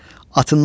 Atından endi,